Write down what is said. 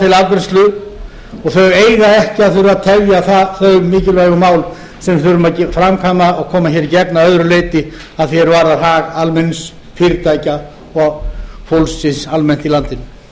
til afgreiðslu og þau eiga ekki að þurfa að tefja þau mikilvægu mál sem við þurfum að framkvæma og koma hér í gegn að öðru leyti að því er varðar hag almennings fyrirtækja og fólksins almennt í landinu